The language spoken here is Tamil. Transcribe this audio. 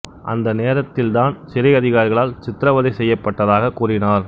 அந்த நேரத்தில் தான் சிறை அதிகாரிகளால் சித்திரவதை செய்யப்பட்டதாகக் கூறினார்